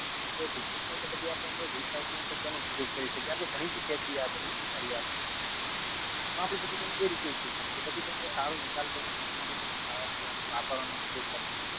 ભેગું થાય તો આપડે તો પછી એને recycling કરી ને તેનો ઉપયોગ કરી શકીએ આપડે ભાણી ચુક્યા છીએઆ બધું પર્યાવરણ માં આમાં આપને પછી કઈક એ રીતે ઉપયોગ કરીએ કે પછી કઈક સારો નિકાલ સારી રીતેકઈક ખાવા પીવા માં વાપરવા ઉપયોગ કરો